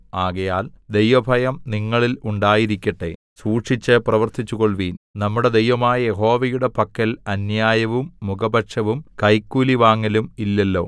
ആകയാൽ ദൈവഭയം നിങ്ങളിൽ ഉണ്ടായിരിക്കട്ടെ സൂക്ഷിച്ച് പ്രവർത്തിച്ചുകൊൾവിൻ നമ്മുടെ ദൈവമായ യഹോവയുടെ പക്കൽ അന്യായവും മുഖപക്ഷവും കൈക്കൂലി വാങ്ങലും ഇല്ലല്ലോ